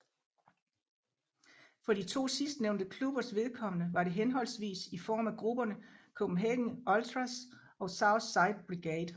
For de to sidstnævnte klubbers vedkommende var det henholdsvis i form af grupperne Copenhagen Ultras og South Side Brigade